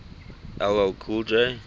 ll cool j